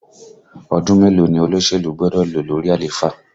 Ọdún mélòó ni olóṣèlú gbọ́dọ̀ lò lórí àléfà?